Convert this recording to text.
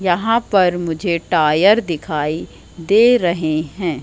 यहां पर मुझे टायर दिखाई दे रहें हैं।